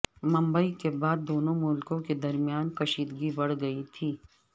ممبئی کے بعد دونوں ملکوں کے درمیان کشیدگی بڑھ گئی تھی